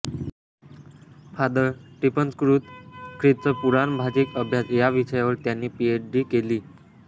father स्टीफन्सकृत ख्रिस्त पुराण भाषिक अभ्यास या विषयावर त्यांनी पीएचडी केली